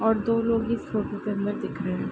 और दो लोग इस फोटो के अन्दर दिख रहे।